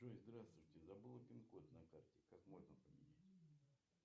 джой здравствуйте забыла пин код на карте как можно поменять